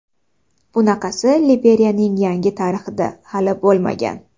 Bunaqasi Liberiyaning yangi tarixida hali bo‘lmagan.